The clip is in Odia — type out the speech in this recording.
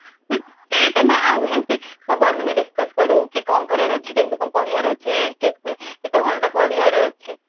ସେଇଟା ନା ସବୁ ଆମେ ଯେମିତି discuss କରୁ କି କଣ କରିବାର ଅଛି କି କେମିତି କଣ ପଢିବାର ଅଛି କେତେ କେତେ ଘଣ୍ଟା ପଢିବାର ଅଛି